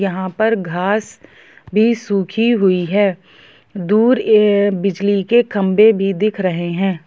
यहाँ पर घास भी में सूखी हुई है दूर बिजली के खंभे भी दिख रहे हैं।